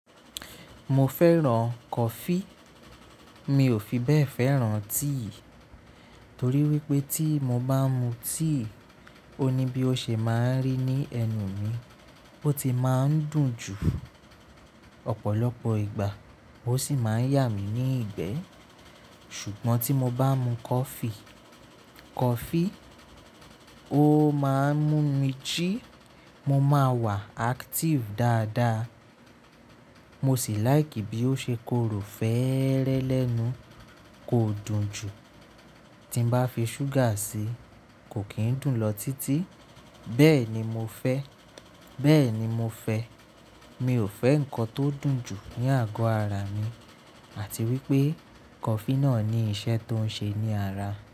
Mo fẹ́ràn coffee. Mi ò fi bẹ́ẹ̀ fẹ́ràn tea. Torí wípé tí mo bá n mu tea, ó ní bí ó ṣe máa ń rí ní ẹnu mi. Ó ti máa ń dùn jù. Ọ̀pọ̀lọpọ̀ ìgbà ó sì máa ń yà mí ní ìgbẹ́. Ṣùgbọ́n tí mo bá mu coffee, coffee ó máa ń mú mi jí, mo máa wà active dáadáa. Mo sì like bí ó ṣe korò fẹ́ẹ́rẹ́ lẹ́nu, kò dùn jù. Tí n bá fi sugar sí, kò kí ń dùn lọ títí. Bẹ́ẹ̀ ni mo fẹ́, bẹ́ẹ̀ ni mo fẹ́. Mi ò fẹ́ nǹkan tó dùn jù ní àgọ́ ara mi àti wípé coffee náà ní iṣẹ́ tó ń ṣe ní ara.